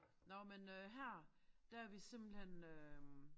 Nåh men øh her der vi simpelthen øh